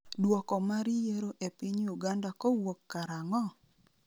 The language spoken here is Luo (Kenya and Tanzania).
dwoko mar yiero e piny Uganda kowuok karang'o?